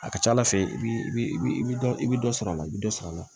A ka ca ala fɛ i bi i bi dɔ i bɛ dɔ sɔrɔ a la i bɛ dɔ sɔrɔ a la